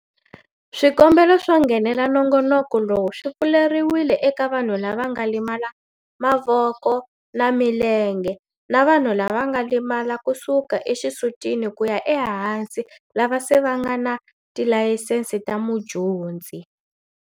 Swikombelo swo nghenela nongonoko lowu swi pfuleriwile eka vanhu lava nga limala mavoko na milenge na vanhu lava nga limala kusuka exisutini kuya ehansi lava se va nga na tilayisense ta mudyondzi.